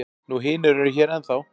Nú hinir eru hér ennþá.